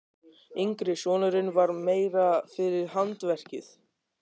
Yngri sonurinn var meira fyrir handverkið.